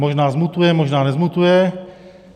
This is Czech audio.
Možná zmutuje, možná nezmutuje.